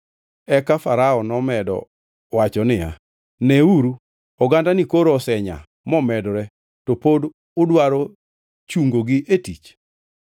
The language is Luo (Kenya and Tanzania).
Eka Farao nomedo wacho niya, “Neuru, ogandani koro osenyaa momedore to pod udwaro chungogi e tich.”